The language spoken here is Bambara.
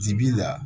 Jibi la